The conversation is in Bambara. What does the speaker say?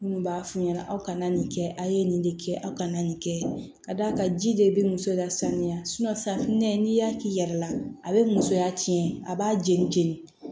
Minnu b'a f'u ɲɛna aw ka na nin kɛ a ye nin de kɛ aw kana nin kɛ ka d'a kan ji de bɛ muso lasaniya safunɛ n'i y'a k'i yɛrɛ la a bɛ musoya tiɲɛ a b'a jeni jeni